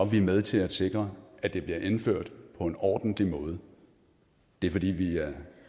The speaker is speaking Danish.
vi med til at sikre at det bliver indført på en ordentlig måde det er fordi vi